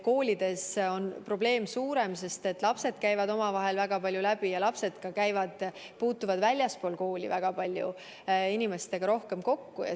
Koolides on probleem suurem, sest lapsed käivad omavahel väga palju läbi ja puutuvad väljaspool kooli väga paljude inimestega kokku.